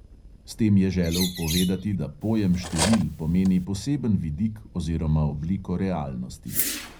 S tem je želel povedati, da pojem števil pomeni poseben vidik oziroma obliko realnosti.